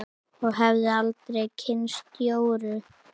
Og hefði aldrei kynnst Jóru.